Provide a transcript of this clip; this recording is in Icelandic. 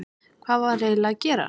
Hvað var eiginlega að gerast?